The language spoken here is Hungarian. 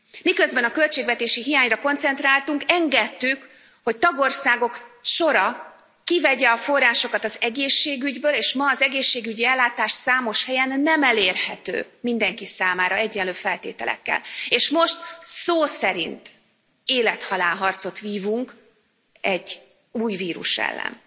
Miközben a költségvetési hiányra koncentráltunk, engedtük, hogy tagországok sora kivegye a forrásokat az egészségügyből és ma az egészségügyi ellátás számos helyen nem elérhető mindenki számára egyenlő feltételekkel, és most szó szerint élet halál harcot vívunk egy új vírus ellen.